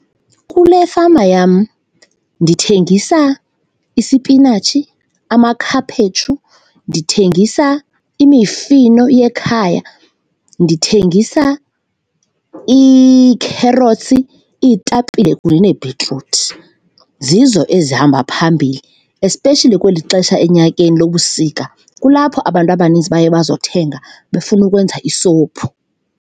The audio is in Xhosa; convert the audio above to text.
Kule fama yam ndithengisa isipinatshi, amakhaphetshu, ndithengisa imifino yekhaya, ndithengisa iikherotsi, iitapile kunye neebhitruthi. Zizo ezihamba phambili especially kweli xesha enyakeni lobusika, kulapho abantu abaninzi baye bazokuthenga befuna ukwenza isuphu.